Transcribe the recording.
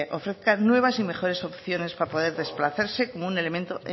ofrezcan nuevas y mejores opciones para poder desplazarse como un elemento